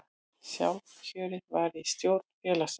Sjálfkjörið var í stjórn félagsins